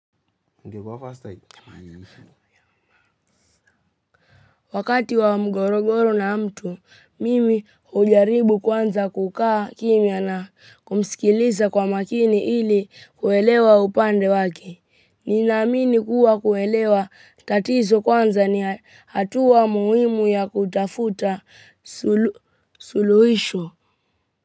Wakati wa mgorogoro na mtu, mimi hujaribu kwanza kukaa kimya na kumsikiliza kwa makini ili kuelewa upande wake. Ninamini kuwa kuwelewa tatizo kwanza ni hatua muhimu ya kutafuta suluhisho.